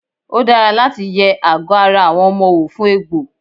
Ó dára láti yẹ àgọ́ ara àwọn ọmọ wò fún egbò.